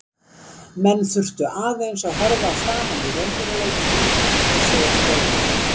Menn þurftu aðeins að horfa framan í raunveruleikann og átta sig á stöðunni.